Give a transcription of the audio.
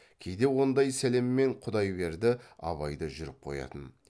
кейде ондай сәлеммен құдайберді абай да жүріп қоятын